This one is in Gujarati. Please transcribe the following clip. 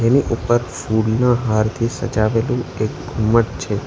એની ઉપર ફૂલના હારથી સજાવેલુ એક ઘુંમટ છે.